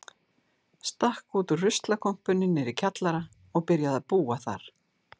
Stakk út úr ruslakompunni niðri í kjallara og byrjaði að búa þar.